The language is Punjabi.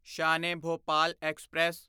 ਸ਼ਾਨ ਈ ਭੋਪਾਲ ਐਕਸਪ੍ਰੈਸ